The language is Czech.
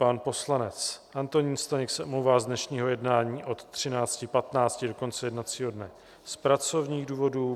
Pan poslanec Antonín Staněk se omlouvá z dnešního jednání od 13.15 do konce jednacího dne z pracovních důvodů.